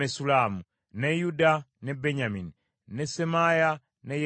ne Yuda, ne Benyamini, ne Semaaya, ne Yeremiya,